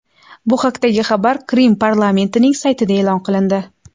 Bu haqdagi xabar Qrim parlamentining saytida e’lon qilindi .